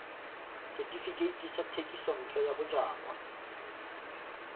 setefikeiti sa thekisontle ya bojalwa